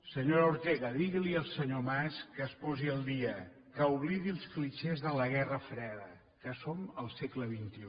senyora ortega digui li al senyor mas que es posi al dia que oblidi els clixés de la guerra freda que som al segle xxi